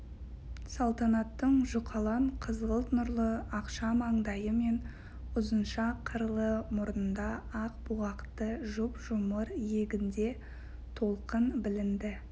салтанаттың жұқалаң қызғылт нұрлы ақша маңдайы мен ұзынша қырлы мұрнында ақ бұғақты жұп-жұмыр иегінде толқын білінді